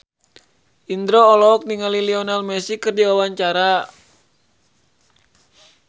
Indro olohok ningali Lionel Messi keur diwawancara